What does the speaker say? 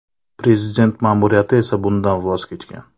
Prezident ma’muriyati esa bundan voz kechgan .